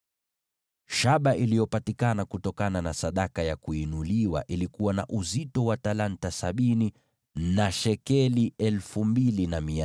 Shaba iliyopatikana kutokana na sadaka ya kuinuliwa ilikuwa na uzito wa talanta 70 na shekeli 2,400.